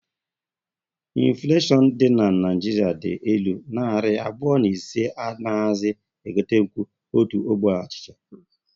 Infuleshion dị na Naịjiria dị elu, narị abụọ na ise anaghizi e gotenkwu otu ogbe achịcha